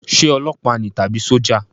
Ṣé ọlọpa ni àbí sójà?